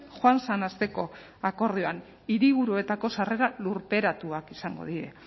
joan zen asteko akordioan hiriburuetako sarrerak lurperatuak izango dira